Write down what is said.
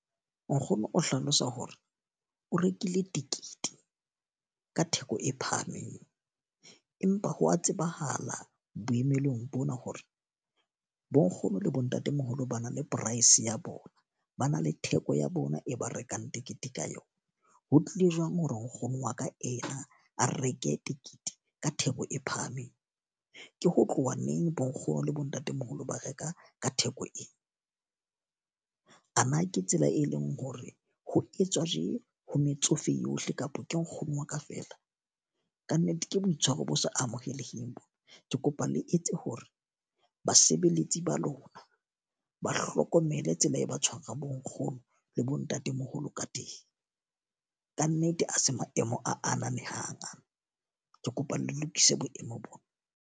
Nkgono o hlalosa hore o rekile tekete ka theko e phahameng. Empa ho wa tsebahala boemelong bona hore bo nkgono le bo ntatemoholo ba na le price ya bona, ba na le theko ya bona e ba rekang tekete ka yona. Ho tlile jwang hore nkgono wa ka ena a reke tekete ka theko e phahameng? Ke ho tloha neng bo nkgono le bo ntatemoholo ba reka ka theko ee? A na ke tsela e leng hore ho etswa je ho metsofe yohle kapa ke nkgono wa ka fela? Ka nnete ke boitshwaro bo se amoheleheng bo. Ke kopa le etse hore basebeletsi ba lona ba hlokomele tsela e ba tshwara bo nkgono le bo ntatemoholo ka teng. Ka nnete a se maemo a ananehang aa, ke kopa le lokise boemo bona.